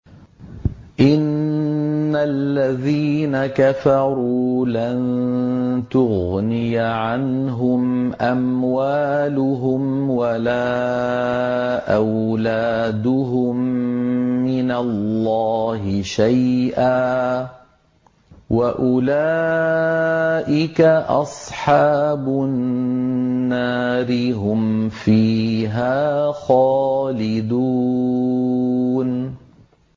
إِنَّ الَّذِينَ كَفَرُوا لَن تُغْنِيَ عَنْهُمْ أَمْوَالُهُمْ وَلَا أَوْلَادُهُم مِّنَ اللَّهِ شَيْئًا ۖ وَأُولَٰئِكَ أَصْحَابُ النَّارِ ۚ هُمْ فِيهَا خَالِدُونَ